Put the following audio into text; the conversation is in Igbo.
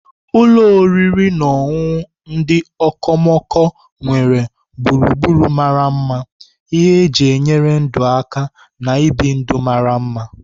Ụlọ oriri na ọṅụṅụ ndị okomoko nwere gburugburu mara mma, ihe eji enyere ndụ aka, na ibi ndụ mara mma.